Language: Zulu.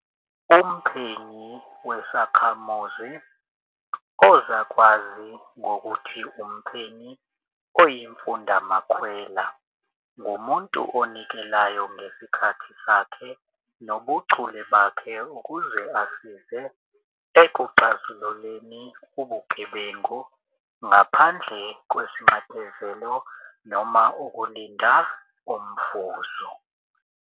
Umphenyi wesakhamuzi, ozakwazi ngokuthi umphenyi oyimfundamakhwela, ngumuntu onikelayo ngesikhathi sakhe nobuchule bakhe ukuze asize ekuxazululeni ubugebengu, ngaphandle kwesinxephezelo noma ukulinda umvuzo.